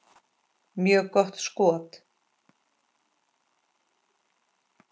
Mjög gott skot.